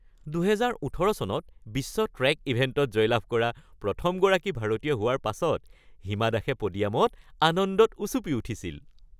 ২০১৮ চনত বিশ্ব ট্ৰেক ইভেণ্টত জয়লাভ কৰা প্ৰথমগৰাকী ভাৰতীয় হোৱাৰ পাছত হিমা দাসে প'ডিয়ামত আনন্দত উচুপি উঠিছিল।